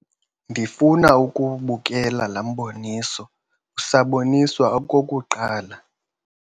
Ndifuna ukuwubukela la mboniso usaboniswa okokuqala.